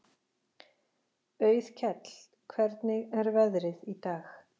Auðkell, hvernig er veðrið í dag?